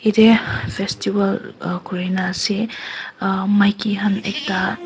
yadae festival ah kori kina ase maiki khan ekta--